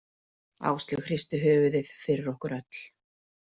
Áslaug hristi höfuðið fyrir okkur öll.